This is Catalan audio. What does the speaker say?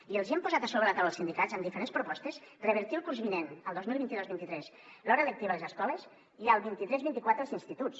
i els hi hem posat a sobre la taula als sindicats amb diferents propostes revertir el curs vinent el dos mil vint dos vint tres l’hora lectiva a les escoles i el vint tres vint quatre als instituts